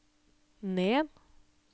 ned